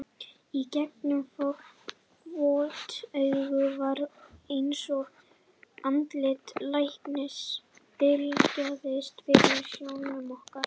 Í gegnum vot augun var eins og andlit læknisins bylgjaðist fyrir sjónum okkar.